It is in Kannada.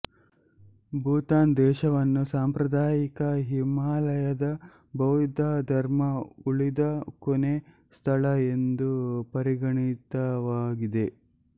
ಭೂತಾನ್ ದೇಶವನ್ನು ಸಾಂಪ್ರದಾಯಿಕ ಹಿಮಾಲಯದ ಬೌದ್ಧ ಧರ್ಮ ಉಳಿದ ಕೊನೆ ಸ್ಥಳ ಎಂದು ಪರಿಗಣಿತವಾಗಿದೆ